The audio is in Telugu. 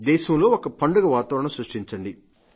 దేశంలోని ఒక పండగ వాతావరణం సృష్టించండి